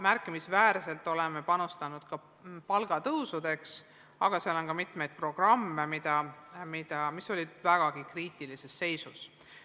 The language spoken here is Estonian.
Märkimisväärselt oleme panustanud ka palgatõusudeks, aga seal on veel mitmeid programme, mis olid väga kriitilises seisus.